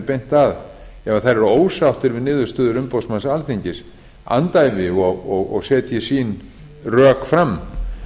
beint að ef þær eru ósáttar við niðurstöður umboðsmanns alþingis andæfi og setja sín rök fram